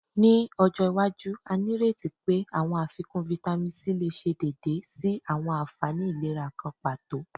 Ni ojo iwaju, a nireti pe awọn afikun Vitamin C le ṣe deede si awọn anfani ilera kan pato